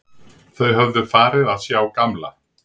Þau höfðu farið að sjá gamla